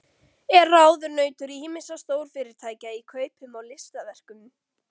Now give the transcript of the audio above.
Er ráðunautur ýmissa stórfyrirtækja í kaupum á listaverkum.